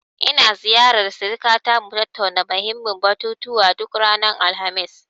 In ziyarar sirikata, mu tattauna muhimmin batutuwa, duk ranar Alhamis.